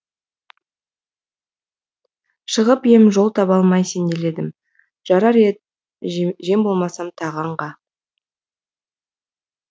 шығып ем жол таба алмай сенделедім жарар ед жем болмасам тағы аңға